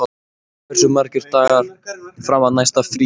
Arnberg, hversu margir dagar fram að næsta fríi?